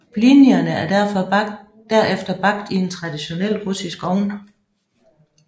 Blinierne er derefter bagt i en traditionel russisk ovn